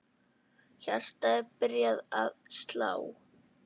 Hjartað er byrjað að slá.